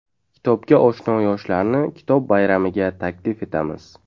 Kitobga oshno yoshlarni Kitob bayramiga taklif etamiz!